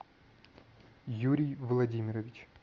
юрий владимирович